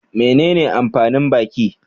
Menene amfanin baki?